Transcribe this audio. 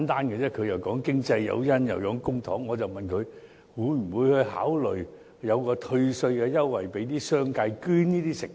局長又說經濟誘因，又說公帑，我只是問他，會不會考慮向商界提供退稅優惠，鼓勵他們捐贈食物？